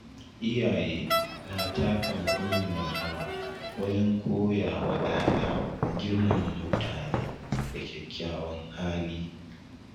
Iyaye na taka muhimmiyar rawa wajen koya wa ‘ya’ya girmama mutune da kyakkyawan hali.